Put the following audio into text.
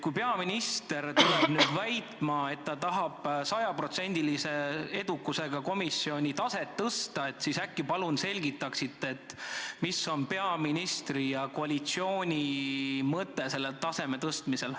Kui peaminister nüüd väidab, et ta tahab sajaprotsendilise edukusega komisjoni taset tõsta, siis äkki selgitate, mis on peaministri ja koalitsiooni mõte selle taseme tõstmisel.